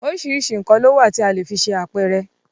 Oríṣiríṣi nkan ló wà tí a le fi ṣe àpẹrẹ